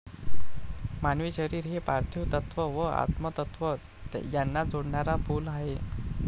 मानवी शरीर हे पार्थिव तत्व व आत्मतत्व यांना जोडणारा पूल आहे.